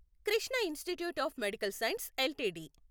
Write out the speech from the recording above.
Krishna institute of medical science LTD